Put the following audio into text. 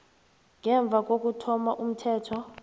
ngemva kokuthoma komthetho